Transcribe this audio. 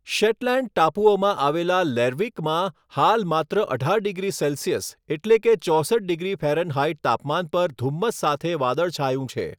Shetland ટાપુઓમાં આવેલા લેર્વિકમાં હાલ માત્ર અઢાર ડિગ્રી સેલ્સિયસ એટલે કે ચોસઠ ડિગ્રી ફેરનહાઈટ તાપમાન પર ધુમ્મસ સાથે વાદળછાયું છે.